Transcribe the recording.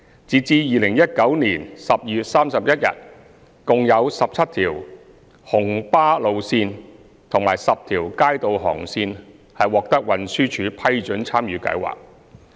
截至2019年12月31日，共有17條紅巴路線及10條街渡航線獲運輸署批准參與計劃。